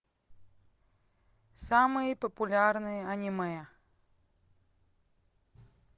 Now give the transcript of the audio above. самые популярные аниме